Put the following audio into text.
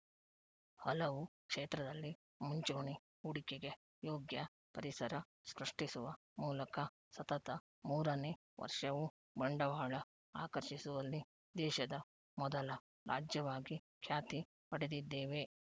ಹಲವು ಕ್ಷೇತ್ರದಲ್ಲಿ ಮುಂಚೂಣಿ ಹೂಡಿಕೆಗೆ ಯೋಗ್ಯ ಪರಿಸರ ಸೃಷ್ಟಿಸುವ ಮೂಲಕ ಸತತ ಮೂರನೇ ವರ್ಷವೂ ಬಂಡವಾಳ ಆಕರ್ಷಿಸುವಲ್ಲಿ ದೇಶದ ಮೊದಲ ರಾಜ್ಯವಾಗಿ ಖ್ಯಾತಿ ಪಡೆದಿದ್ದೇವೆ